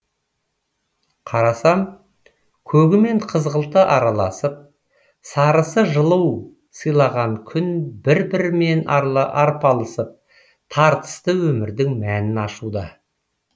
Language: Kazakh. қарасам көгі мен қызғылты араласып сарысы жылу сыйлаған күн бір бірімен арпалысып тартысы өмірдің мәнін ашуда